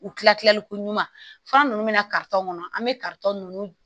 U kila tilaliko ɲuman fura nunnu min na kɔnɔ an be nunnu